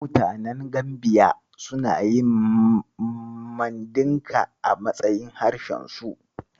Mutanen Gambiya suna yin Mandinka a matsayin harshensu.